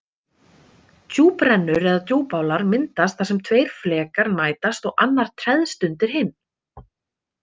Djúprennur eða djúpálar myndast þar sem tveir flekar mætast og annar treðst undir hinn.